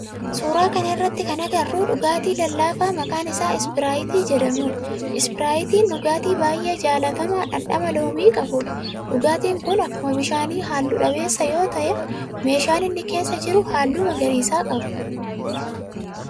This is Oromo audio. Suuraa kana irratti kana agarru dhugaatii lallaafaa maqaan isaa ispiraayitii jedhamudha. Ispiraayitiin dhugaatii baayyee jaalatamaa dhandhama loomii qabudha. Dhugaatin kun akkuma bishaanii halluu dhabeessa yoo ta'u meeshaan inni keessa jiru halluu magariisa qaba.